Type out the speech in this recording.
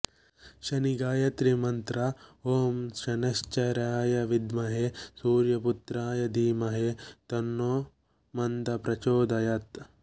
ಶನಿ ಗಾಯತ್ರಿ ಮಂತ್ರ ಓಂ ಸನೈಸ್ಚರಾಯ ವಿಧ್ಮಹೆ ಸೂರ್ಯಪುತ್ರಾಯ ಧೀಮಹಿ ತನ್ನೋ ಮಂದ ಪ್ರಚೋದಯಾತ್